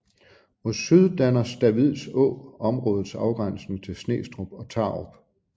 Mod syd danner Stavids Å områdets afgrænsning til Snestrup og Tarup